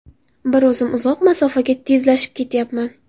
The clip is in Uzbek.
Bir o‘zim uzoq masofaga tezlashib ketyapman.